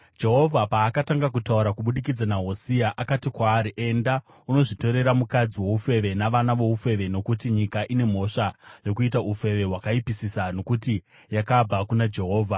Jehovha paakatanga kutaura kubudikidza naHosea, akati kwaari, “Enda, unozvitorera mukadzi woufeve navana voufeve nokuti nyika ine mhosva yokuita ufeve hwakaipisisa nokuti yakabva kuna Jehovha.”